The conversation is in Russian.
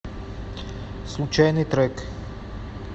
случайный трек